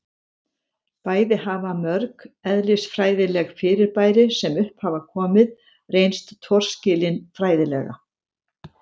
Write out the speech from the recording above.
Bæði hafa mörg eðlisfræðileg fyrirbæri sem upp hafa komið reynst torskilin fræðilega